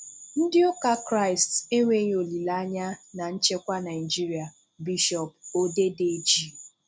Ndị ụka K̀ristì enweghi olílèanya na nchekwa Naịjirịa – Bishop Odedeji.